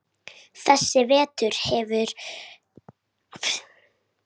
Þessi vetur hefur verið góður.